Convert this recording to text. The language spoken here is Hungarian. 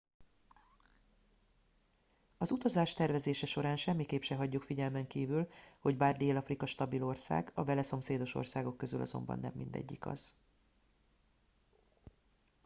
az utazás tervezése során semmiképp se hagyjuk figyelmen kívül hogy bár dél afrika stabil ország a vele szomszédos országok közül azonban nem mindegyik az